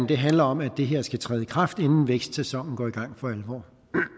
det handler om at det her skal træde i kraft inden vækstsæsonen går i gang for alvor